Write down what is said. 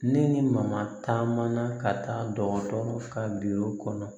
Ne ni mama taa mana ka taa dɔgɔtɔrɔ ka kɔnɔ